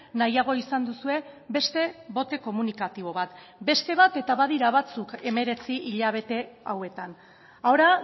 nahiago izan duzue beste bote komunikatibo bat beste bat eta badira batzuk hemeretzi hilabete hauetan ahora